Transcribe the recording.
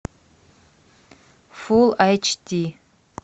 фулл айч ди